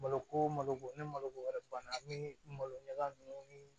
Malo ko malo ko ni maloko wɛrɛ banna an be malo ɲaga ninnu ni